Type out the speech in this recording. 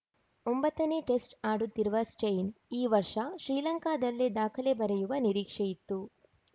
ಒಂಬತ್ತ ನೇ ಟೆಸ್ಟ್‌ ಆಡುತ್ತಿರುವ ಸ್ಟೈನ್‌ ಈ ವರ್ಷ ಶ್ರೀಲಂಕಾದಲ್ಲೇ ದಾಖಲೆ ಬರೆಯುವ ನಿರೀಕ್ಷೆಯಿತ್ತು